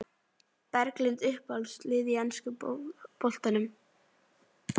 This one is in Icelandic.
Berglind Uppáhalds lið í enska boltanum?